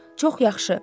Çox yaxşı.